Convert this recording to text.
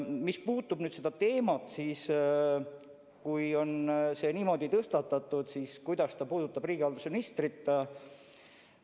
Mis puutub sellesse teemasse, siis kui see on niimoodi tõstatatud, siis kuidas see puudutab riigihalduse ministrit?